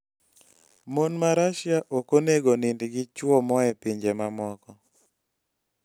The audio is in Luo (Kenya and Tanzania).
Mon ma Russia ok onego onind gi chwo moa e pinje mamoko